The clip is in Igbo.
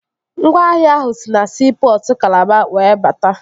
Ngwaahịa ahụ si na siipọtụ Kalaba were bata